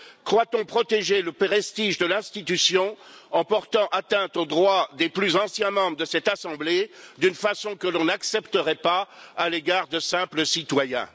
Croit on protéger le prestige de l'institution en portant atteinte aux droits des plus anciens membres de cette assemblée, d'une façon que l'on n'accepterait pas à l'égard de simples citoyens?